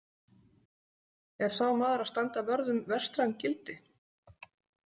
Er sá maður að standa vörð um „vestræn gildi“ ?